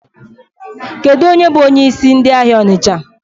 Kedụ onye bụ onyeisi ndị ahịa Ọnịcha?